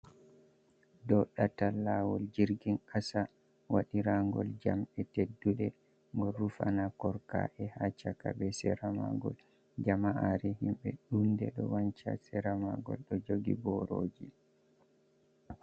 Ɗo ɗatal lawol jirgin kasa waɗira ngol jamɗe tedduɗe bo rufana korka'e ha chaka be sera magol. Jama'are himɓe ɗunde ɗo wanca sera maagol ɗo jogi boroji.